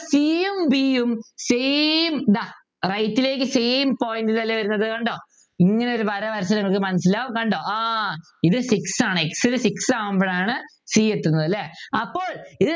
c യും b യും same ഇതാ കണ്ടോ right ലേക്ക് same point ൽ അല്ലെ വരുന്നത് കണ്ടോ ഇങ്ങനെയൊരു വര വരച്ചാൽ നമുക്ക് മനസ്സിലാകും കണ്ടോ ആഹ് ഇത് six ആണ് x നു six ആവുമ്പോഴാണ് c എത്തുന്നത് അല്ലെ അപ്പോൾ